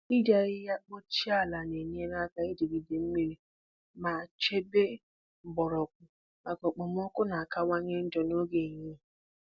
Iji ahịhịa kpuchie ala na-enyere aka ijigide mmiri ma chebe mgbọrọgwụ maka okpomọkụ na-akawanye njọ n'oge ehihie